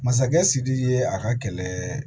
Masakɛ sidiki ye a ka kɛlɛ